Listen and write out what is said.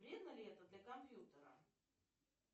вредно ли это для компьютера